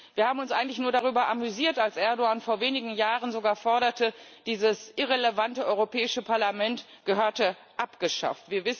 Wir haben uns eigentlich nur darüber amüsiert, als Erdoğan vor wenigen Jahren sogar forderte, dieses irrelevante Europäische Parlament gehörte abgeschafft.